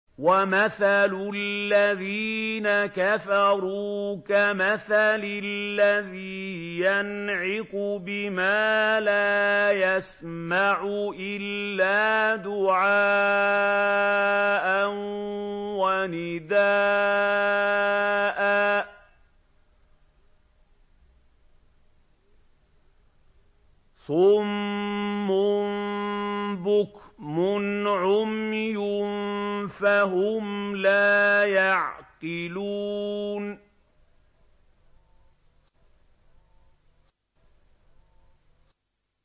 وَمَثَلُ الَّذِينَ كَفَرُوا كَمَثَلِ الَّذِي يَنْعِقُ بِمَا لَا يَسْمَعُ إِلَّا دُعَاءً وَنِدَاءً ۚ صُمٌّ بُكْمٌ عُمْيٌ فَهُمْ لَا يَعْقِلُونَ